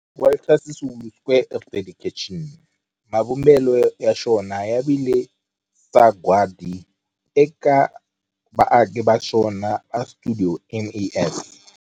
Walter Sisulu Square of Dedication, mavumbelo ya xona ya vile sagwadi eka vaaki va xona va stuidio MAS.